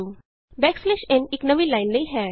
backslash N n ਇਕ ਨਵੀਂ line ਲਈ ਹੈ